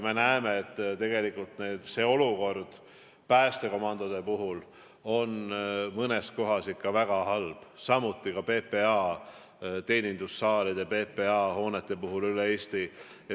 Me näeme, et tegelikult on päästekomandode olukord mõnes kohas ikka väga halb, samuti PPA teenindussaalide, PPA hoonete olukord.